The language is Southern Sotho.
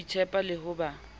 ho itshepa le ho ba